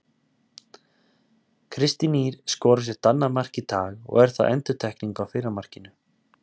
Kristín Ýr skorar sitt annað mark í dag og er það endurtekning á fyrra markinu.